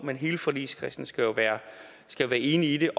men hele forligskredsen skal jo være enig i